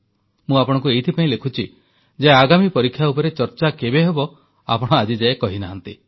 ମୁଁ ଆପଣଙ୍କୁ ଏଥିପାଇଁ ଲେଖୁଛି ଯେ ଆଗାମୀ ପରୀକ୍ଷା ଉପରେ ଆଲୋଚନା କେବେ ହେବ ଆପଣ ଆଜିଯାଏ କହିନାହାଁନ୍ତି